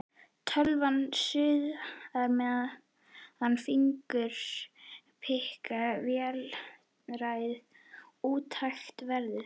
Tölvan suðar meðan fingurnir pikka vélrænt, úti hægist veðrið.